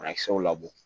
Banakisɛw labɔ